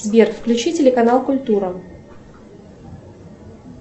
сбер включи телеканал культура